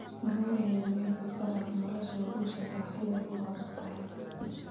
Gawaryahee warega iskadaaf nolosha waa ujedax sidha uu adaktahy.